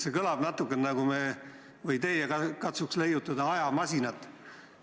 See kõlab natuke niimoodi, et te katsute nagu leiutada ajamasinat.